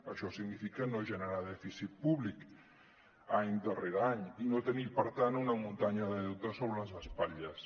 això significa no generar dèficit públic any darrere any i no tenir per tant una muntanya de deute sobre les espatlles